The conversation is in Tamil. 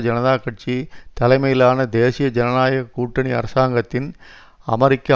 ஜனதா கட்சி தலைமையிலான தேசிய ஜனநாயக கூட்டணி அரசாங்கத்தின் அமெரிக்க